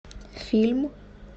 фильм